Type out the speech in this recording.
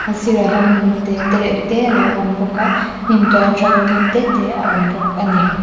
a sir ah hian lung te tereuh te a lo awm bawk a hnim tual to tlem te te a lo awm bawk a ni.